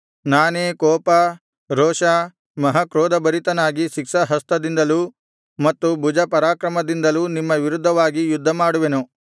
ನಾನೇ ಕೋಪ ರೋಷ ಮಹಾಕ್ರೋಧಭರಿತನಾಗಿ ಶಿಕ್ಷಾಹಸ್ತದಿಂದಲೂ ಮತ್ತು ಭುಜಪರಾಕ್ರಮದಿಂದಲೂ ನಿಮ್ಮ ವಿರುದ್ಧವಾಗಿ ಯುದ್ಧಮಾಡುವೆನು